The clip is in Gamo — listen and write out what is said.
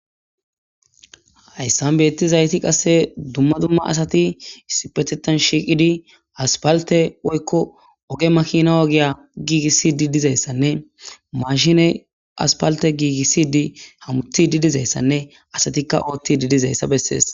Hayssan beetti zayti qasse dumma dumma asati issipetetan shiiqidi aspalte woykko oge makina ogiya giigissi di dizayssanne mashine aspalte giigissi di hamutidi dizayssanne asatikka ootti di dizayssa bessees.